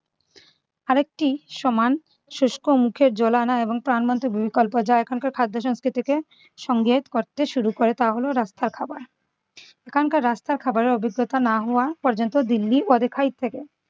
আরেকটি সমান শুষ্ক মুখে জল আনা এবং প্রাণবন্ত বিকল্প যা এখনকার খাদ্য সংস্কৃতিকে সঙ্গে করতে শুরু করে তা হল রাস্তার খাবার। এখানকার রাস্তার খাবারের অভিজ্ঞতা না হওয়া পর্যন্ত দিল্লি অদেখায় থাকে।